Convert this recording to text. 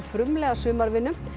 frumlega sumarvinnu